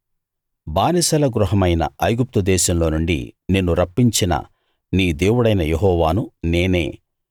బానిసల గృహమైన ఐగుప్తు దేశంలో నుండి నిన్ను రప్పించిన నీ దేవుడనైన యెహోవాను నేనే